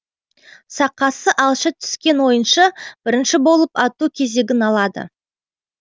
сақасы алшы түскен ойыншы бірінші болып ату кезегін алады